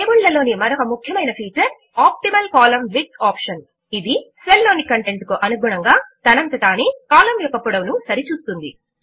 table ల లోని మరొక ముఖ్యమైన feature optimal column width option ఇది సెల్ లోని కంటెంట్ కు అనుగుణముగా తనంత తానే కాలమ్ యొక్క పొడవు ను సరి చూస్తుంది